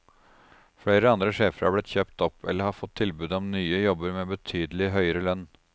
Flere andre sjefer er blitt kjøpt opp, eller har fått tilbud om nye jobber med betydelig høyere lønn.